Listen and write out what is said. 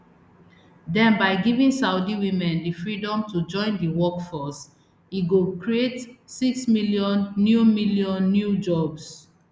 den by giving saudi women di freedom to join di workforce e go create six million new million new jobs